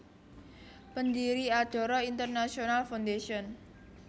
Pendiri Adara International Foundation